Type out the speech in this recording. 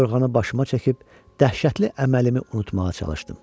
Yorğanı başıma çəkib dəhşətli əməlimi unutmağa çalışdım.